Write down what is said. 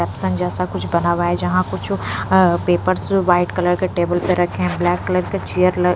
Epson जैसा कुछ बना हुआ है जहाँ कुछ अ पेपर्स व्हाइट कलर के टेबल पर रखे हैं ब्लैक कलर के चियर ल --